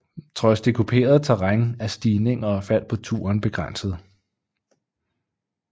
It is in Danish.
Trods det kuperede terræn er stigninger og fald på turen begrænsede